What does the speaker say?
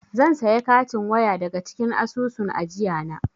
Zan saya katin waya daga cikin asusun ajiyana.